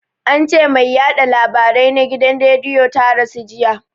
Ance mai yaɗa labarai na gidan rediyo ta rasu jiya